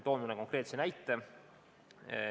Toon mõne konkreetse näite.